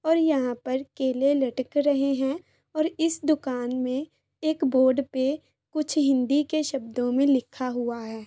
और यहाँ पर केले लटक रहे हैं और इस दुकान मे एक बोर्ड पे कुछ हिंदी के शब्दों मे लिखा हुआ है।